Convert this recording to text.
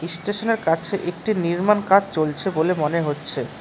স্টেশনের কাছে একটি নির্মাণ কাজ চলছে বলে মনে হচ্ছে।